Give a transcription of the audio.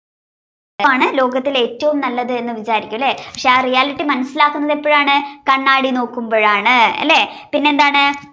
ആണ് ലോകത്തിൽ ഏറ്റവും നല്ലത് എന്ന് വിചാരിക്കും അല്ലെ പിന്നെ ആ reality മനസ്സിലാക്കുന്നത് എപ്പോ ആണ് കണ്ണാടി നോക്കുമ്പോ ആണ് അല്ലെ പിന്നെന്താണ്